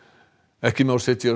ekki má setja